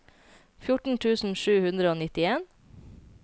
fjorten tusen sju hundre og nittien